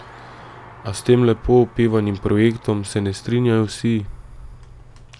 A s tem lepo opevanim projektom se ne strinjajo vsi.